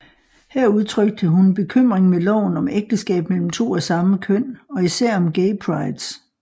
Her udtrykte hun bekymring med loven om ægteskab mellem to af samme køn og især om Gay Prides